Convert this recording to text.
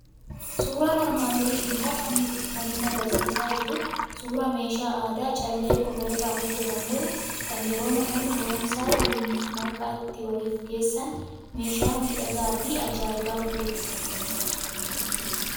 Suuraan armaan olii immoo kan inni nu argisiisaa jiru suuraa meeshaa aadaa callee qofaa irraa hojjetameeru, kan yeroo namoonni da'umsa waliniif marqaa itti waliif geessan, meeshaa miidhagaa fi ajaa'ibaa ta'edha.